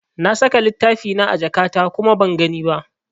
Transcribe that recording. Na saka littafina a jakata kuma ban gani ba.